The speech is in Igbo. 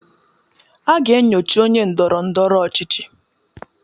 A ga-enyocha onye ndoro-ndoro ochichi